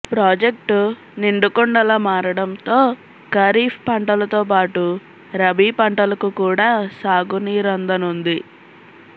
project నిండుకుండలా మారడంతో ఖరీఫ్ పంటలతో పాటు రబీ పంటలకు కూడా సాగునీరందనుంది